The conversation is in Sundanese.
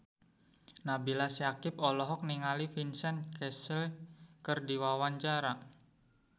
Nabila Syakieb olohok ningali Vincent Cassel keur diwawancara